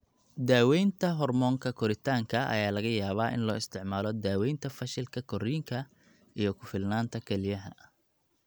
Daawaynta hoormoonka koritaanka ayaa laga yaabaa in loo isticmaalo daawaynta fashilka korriinka iyo ku filnaanta kelyaha.